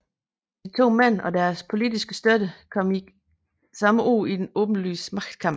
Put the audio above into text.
De to mænd og deres politiske støtter kom samme år i en åbenlys magtkamp